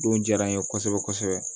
Don diyara n ye kosɛbɛ kosɛbɛ